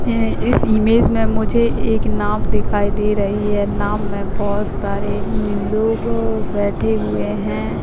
ये इस इमेज में मुझे एक नाव दिखाई दे रही हैं नाव में बहोत सारे उम्म लोग बैठे हुए है।